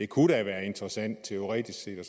kunne være interessant teoretisk set og